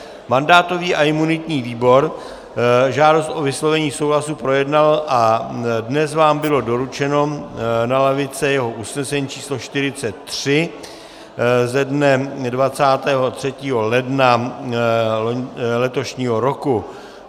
Mandátový a imunitní výbor žádost o vyslovení souhlasu projednal a dnes vám bylo doručeno na lavice jeho usnesení č. 43 ze dne 23. ledna letošního roku.